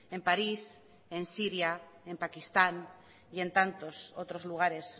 en parís en siria en pakistán y en tantos otros lugares